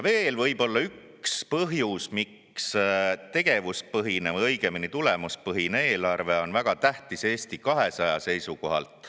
Veel võib olla üks põhjus, miks tegevuspõhine, või õigemini, tulemuspõhine eelarve on väga tähtis Eesti 200 seisukohalt.